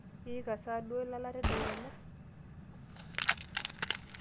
iika sa duo ilala tedekenya?